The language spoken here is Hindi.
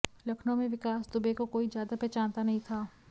लखनऊ में विकास दुबे को कोई ज्यादा पहचानता नहीं था